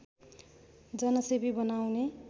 जनसेवी बनाउने